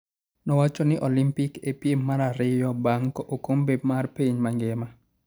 nowachoni olympic e piem mar ariyo bang okombe mar piny mangima